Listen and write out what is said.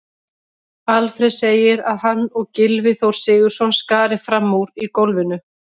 Alfreð segir að hann og Gylfi Þór Sigurðsson skari fram úr í golfinu.